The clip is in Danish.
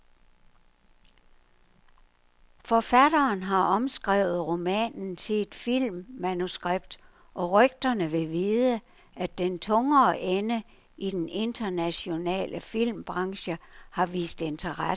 Forfatteren har omskrevet romanen til et filmmanuskript, og rygterne vil vide, at den tungere ende i den internationale filmbranche har vist interesse for sagen.